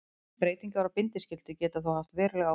Breytingar á bindiskyldu geta þó haft veruleg áhrif.